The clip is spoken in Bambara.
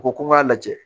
U ko ko n k'a lajɛ